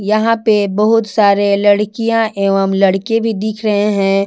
यहां पे बहुत सारे लड़कियां एवं लड़के भी दिख रहे है।